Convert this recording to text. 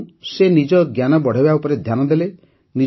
ତେଣୁ ସେ ନିଜ ଜ୍ଞାନ ବଢ଼ାଇବା ଉପରେ ଧ୍ୟାନ ଦେଲେ